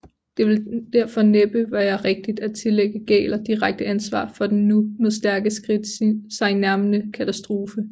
Det vil derfor næppe være rigtigt at tillægge Gähler direkte ansvar for den nu med stærke skridt sig nærmende katastrofe